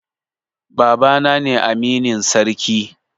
Baba na ne aminin sarki